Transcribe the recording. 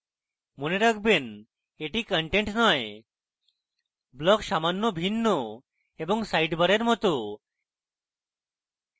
মনে রাখবেনএটি content নয় blocks সামান্য ভিন্ন এবং সাইডবারের মত